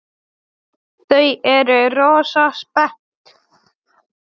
Þau eru rosa spennt.